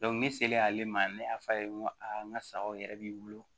ne selen ale ma ne y'a fɔ a ye n ko aa n ka sagaw yɛrɛ b'i bolo